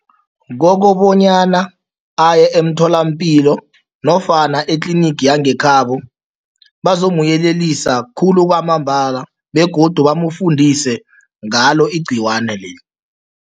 Kokobanyana aye emtholampilo nofana etlinigi yangekhabo, bazomyelelisa khulu kwamambala begodu bamfundise ngalo igcikwana leli.